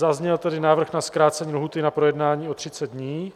Zazněl tady návrh na zkrácení lhůty na projednání o 30 dní